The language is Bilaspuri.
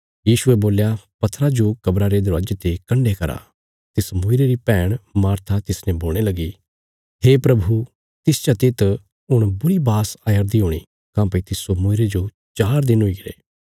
यीशुये बोल्या पत्थरा जो कब्रा रे दरवाजे ते कण्डे करा तिस मूईरे री भैण मार्था तिसने बोलणे लगी हे प्रभु तिस चते त हुण बुरी बास आयरदी हूणी काँह्भई तिस्सो मूईरे जो चार दिन हुईगरे